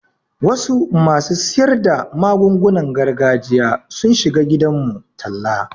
Wasu masu siyar da magungunan gargajiya sun shiga gidanmu talla.